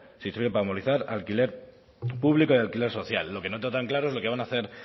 si sirve para armonizar alquiler público y alquiler social lo que no tengo tan claro es lo que van a hacer